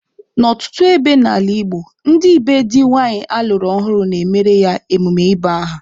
N'ọtụtụ ebe n'ala Igbo, ndị be di nwanyị alụrụ ọhụrụ na-emere ya emume ịba aha.